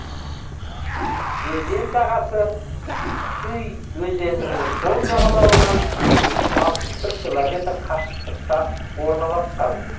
өзен сағасы туй өзенінің сол жағалауынан екі жүз алпыс бір километр қашықтықта орналасқан